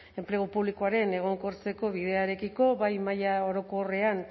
enplegu publikoaren egonkortzeko bidearekiko bai maila orokorrean